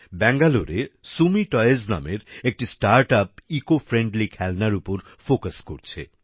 ব্যাঙ্গালোরে সুমি টয়েজ নামের একটি স্টার্টআপ ইকো ফ্রেন্ডলি খেলনার উপর ফোকাস করছে